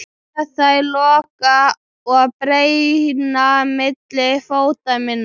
Sé þær loga og brenna milli fóta minna.